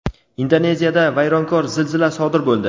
Indoneziyada vayronkor zilzila sodir bo‘ldi.